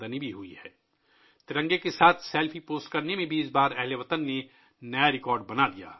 اس بار ہم وطنوں نے ترنگے کے ساتھ سیلفی پوسٹ کرنے کا نیا ریکارڈ بنایا ہے